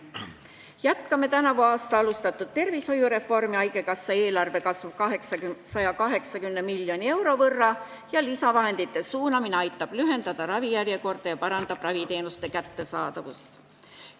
Jätkame tänavu alustatud tervishoiureformi, haigekassa eelarve kasvab 180 miljoni euro võrra ja lisavahendite suunamine meditsiini aitab lühendada ravijärjekordi, paraneb raviteenuste kättesaadavus.